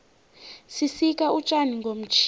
sisika utjani ngomtjhini